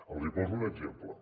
els poso un exemple